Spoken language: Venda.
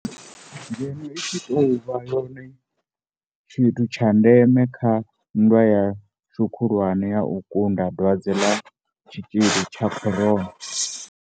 Ngeno i tshi tou vha yone tshithu tsha ndeme kha nndwa ya-shu khulwane ya u kunda dwadze ḽa tshitzhili tsha corona.